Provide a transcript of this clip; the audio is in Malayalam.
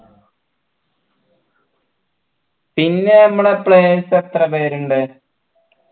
പിന്നെ നമ്മളെ players എത്ര പേരുണ്ട്